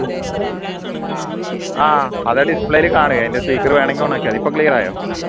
ആഹ് അത് display ൽ കാണുവേ അതിൻറെ speaker വേണേൽ on ക്കിയാ മതി ഇപ്പോ clear ആയോ